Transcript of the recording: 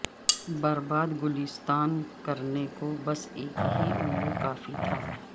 برباد گلستان کرنے کو بس ایک ہی الو کافی تھا